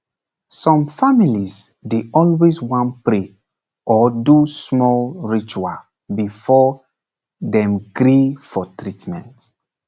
some families dey always wan pray or do small ritual before dem gree for treatment